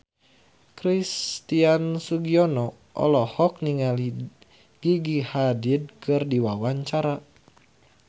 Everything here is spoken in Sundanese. Christian Sugiono olohok ningali Gigi Hadid keur diwawancara